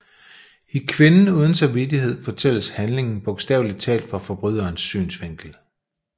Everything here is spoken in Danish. I Kvinden uden samvittighed fortælles handlingen bogstaveligt talt fra forbryderens synsvinkel